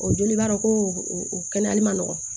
O joli b'a dɔ ko o kɛnɛyali ma nɔgɔn